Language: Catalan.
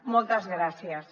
moltes gràcies